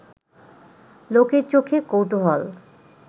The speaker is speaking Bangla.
লোকের চোখে কৌতূহল